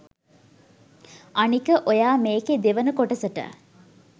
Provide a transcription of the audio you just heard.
අනික ඔයා මේකෙ දෙවන කොටසට